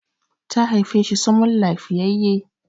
ta haife shi sumul lafiyayye!